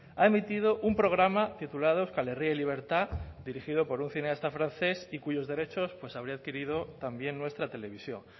ha emitido un programa titulado euskal herria y libertad dirigido por un cineasta francés y cuyos derechos pues habría adquirido también nuestra televisión